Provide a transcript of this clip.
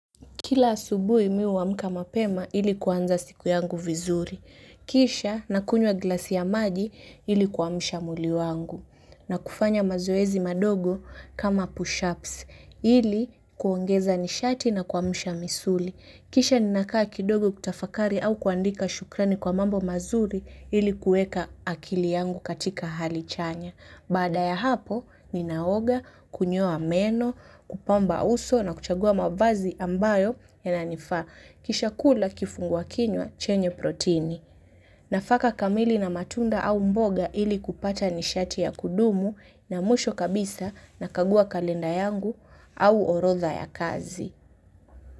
Kila asubuhi mimi huamka mapema ili kuanza siku yangu vizuri. Kisha nakunywa glasi ya maji ili kuamsha mwili wangu. Na kufanya mazoezi madogo kama pushups. Ili kuongeza nishati na kuamsha misuli. Kisha ninakaa kidogo kutafakari au kuandika shukrani kwa mambo mazuri ili kueka akili yangu katika hali chanya. Baada ya hapo, ninaoga, kunyoa meno, kupamba uso na kuchagua mavazi ambayo yananifaa. Kisha kula kifungwa kinywa chenye protini. Nafaka kamili na matunda au mboga ili kupata nishati ya kudumu na mwisho kabisa nakagua kalenda yangu au orodha ya kazi.